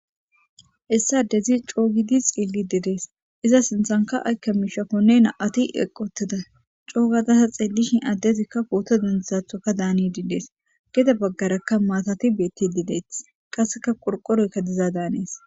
Hessa dezi coogidi xiilli didees iza sinthanka aykka miishafonne na'ati eqoteda coo gadasa xeellishin addezikka pooto dendizathoka daani didees gide baggarakka maatati beetti dideeti qasseka qorqoroykka diza daanees.